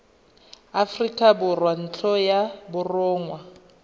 aforika borwa ntlo ya borongwa